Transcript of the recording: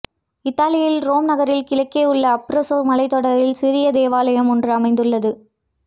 இத்தாலியில் ரோம் நகரின் கிழக்கே உள்ள அப்ரூசோ மலைத் தொடரில் சிறிய தேவாலயம் ஒன்று அமைந்துள்ளது